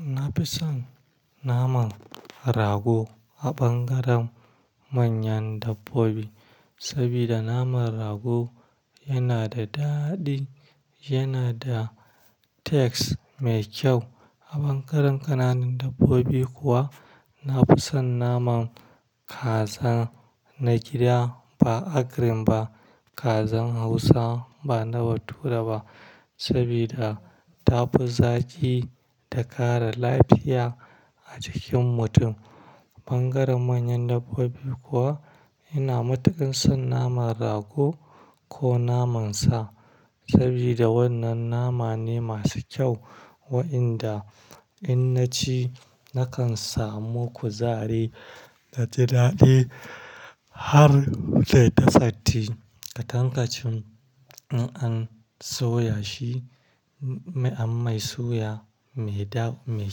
Na fi son naman rago a ɓangaren manyan dabbobi, saboda naman rago yana da daɗi, yana da taste mai kyau. A ɓangaren ƙananan dabbobi kuwa, na fi son naman kaza na gida ba agric ba. Kazan Hausa ba na bature ba, saboda ta fi zaki da kare lafiya a jikin mutum. Bangaren manyan dabbobi kuwa, ina matuƙin son naman rago ko naman sa, saboda wannan nama ne masu kyau. Waɗanda in naci nakan samu kuzari naji daɗi har nayi ta satin. A tankacin in an soya shi, mai an mai soya, mai da mai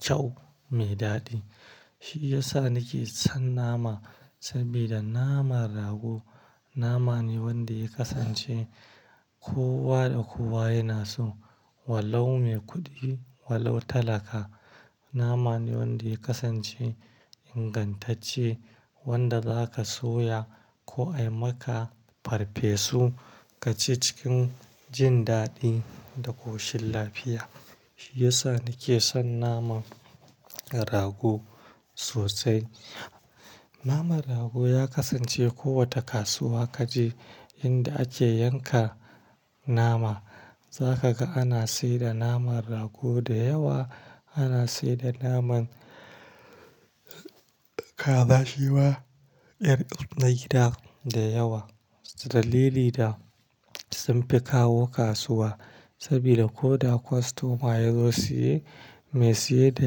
kyau, mai daɗi. Shi ya sa nake son nama, saboda naman rago nama ne wanda ya kasance kowa da kowa yana so. Walau mai kuɗi, walau talaka, nama ne wanda ya kasance ingantacce wanda zaka soya ko ai maka farfesu ka ci cikin jin daɗi da ƙoshin lafiya. Shi ya sa nake son naman rago sosai. Naman rago ya kasance kowace kasuwa ka je inda ake yanka nama, za ka ga ana siyar da naman rago da yawa. Ana siyar da naman kaza shi ma, ƴar na gida da yawa. Dalili da sunfi kawo kasuwa, saboda ko da kostoma ya zo siye, mai siye da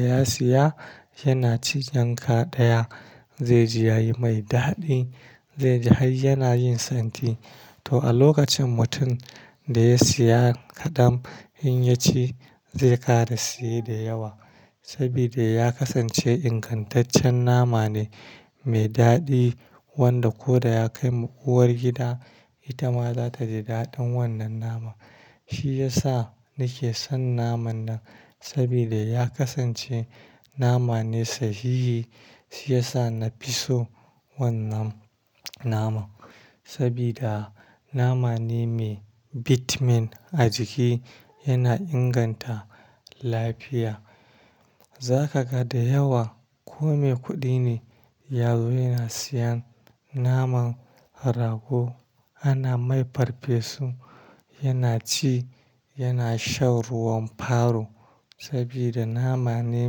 ya siya yana cin yanka daya, zai ji yayi mai daɗi zai ji har yana yin santi. To, a lokacin mutum da ya siya kadam in ya ci zai ƙara siye da yawa. Saboda ya kasance ingantancen nama ne mai dadi wanda kuda ya kai ma uwargida itama zata ji dadin wanan naman. Shi ya sa nake son naman nan, saboda ya kasance nama ne sahihi. Shi ya sa na fi so wannan naman. Saboda nama ne mai bitamin a jiki, yana inganta lafiya. Za ka ga da yawa ko mai kuɗi ne, ya zo yana siyan naman rago. Ana mai farfesu, yana ci, yana shan ruwan faro. Saboda nama ne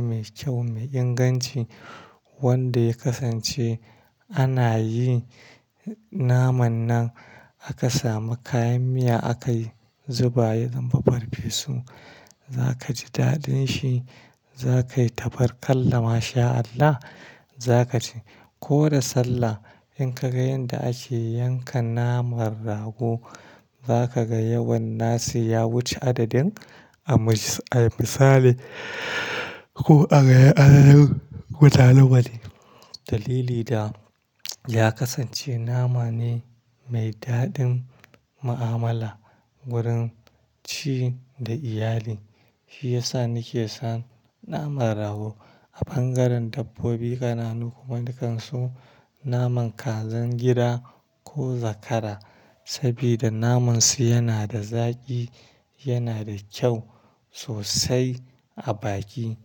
mai kyau, mai inganci wanda ya kasance ana yi naman nan aka sami kayan miya aka yi zuba, ya zama farfesu za ka ji daɗin shi. Za ka yi tabarkallah masha Allah, za ka cie. Ko da sallah in ka ga yanda ake yanka naman rago, za ka ga yawan nasu ya wuce adadin, a misali ko a rage adadin mutanen waje. Dalili da ya kasance nama ne mai daɗin mu'amala wurin ci da iyali. Shi ya sa nike son naman rago. A bangaren dabbobi ƙananu kuma, nakan so naman kazan gida ko zakara. Saboda naman su yana da zaƙi, yana da kyau sosai a baki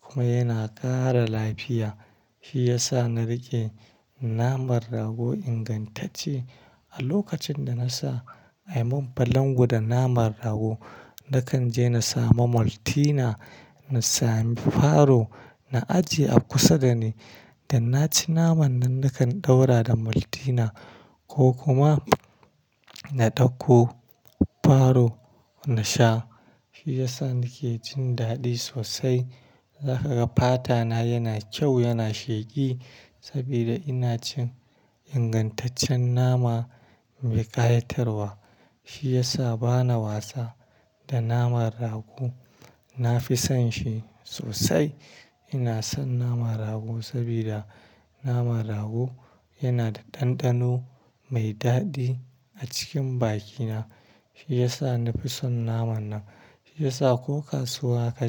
kuma yana ƙara lafiya. Shi ya sa na riƙe naman rago ingantacce. A lokacin da na sa a mun balango da naman rago, na kan je na samu Maltina, na sami faro na ajiye a kusa dani. Da na ci naman nan, nakan ɗaura da Maltina ko kuma na ɗauko faro na sha. Shi ya sa nake jin daɗi sosai. Za ka ga fata na yana kyau, yana sheki saboda ina cin ingantaccen nama mai ƙayatarwa. Shi ya sa bana wasa da naman rago. Na fi son shi sosai. Ina son naman rago saboda naman rago yana da ɗanɗano mai daɗi a cikin bakina. Shi ya sa na fi son naman nan. Shi ya sa ko kasuwa ka.